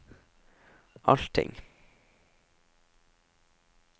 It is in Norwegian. allting